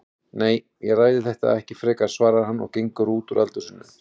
Nei, ég ræði þetta ekki frekar, svarar hann og gengur út úr eldhúsinu.